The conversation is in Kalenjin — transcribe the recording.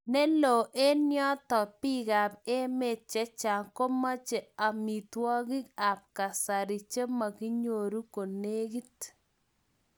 Ne loo eng' notok biik ab emet che chang komache amitwogik ab kasari che makinyoru konegit